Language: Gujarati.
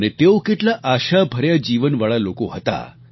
અને તેઓ કેટલા આશાભર્યા જીવનવાળા લોકો હતા